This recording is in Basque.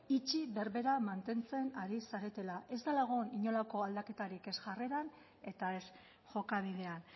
itxi berbera mantentzen ari zaretela ez dela egon inolako aldaketarik ez jarreran eta ez jokabidean